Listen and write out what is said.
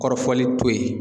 Kɔrɔfɔli to yen